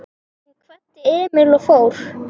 Hún kvaddi Emil og fór.